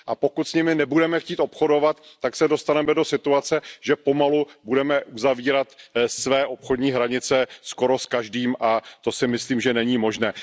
Pokud s nimi nebudeme chtít obchodovat, tak se dostaneme do situace, že pomalu budeme uzavírat své obchodní hranice skoro s každým a to si, myslím, není možné.